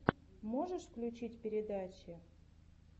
можешь включить передачи